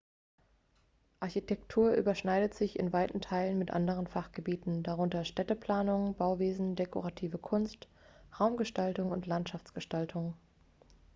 architektur überschneidet sich in weiten teilen mit anderen fachgebieten darunter städteplanung bauwesen dekorative kunst raumgestaltung und landschaftsgestaltung